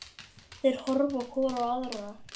Þær horfa hvor á aðra.